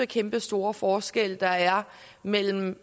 kæmpestore forskel der er mellem